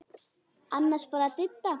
Annars bara Didda.